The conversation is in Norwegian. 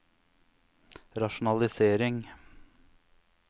rasjonalisering